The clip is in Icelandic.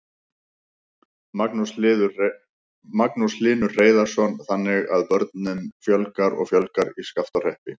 Magnús Hlynur Hreiðarsson: Þannig að börnum fjölgar og fjölgar í Skaftárhreppi?